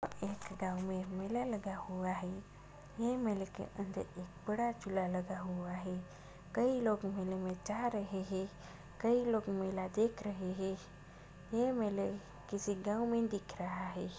एक गांव में मेला लगा हुआ है। ये मेले के अंदर एक बड़ा झूला लगा हुआ हैकई लोग मेले में जा रहे हैंकई लोग मेला देख रहे हैं ये मेला किसी गांव में दिख रहा है।